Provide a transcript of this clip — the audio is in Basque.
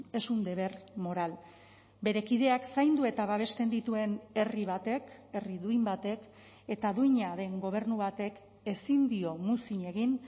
es un deber moral bere kideak zaindu eta babesten dituen herri batek herri duin batek eta duina den gobernu batek ezin dio muzin egin